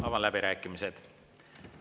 Avan läbirääkimised.